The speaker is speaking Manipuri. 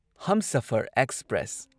ꯍꯝꯁꯐꯔ ꯑꯦꯛꯁꯄ꯭ꯔꯦꯁ